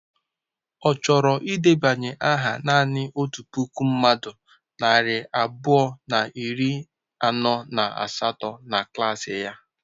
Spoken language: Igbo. Ọ chọrọ ịdebanye aha naanị otu puku mmadụ narị abụọ na iri anọ na asatọ na klaasị ya?